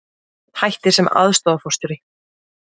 Hættir sem aðstoðarforstjóri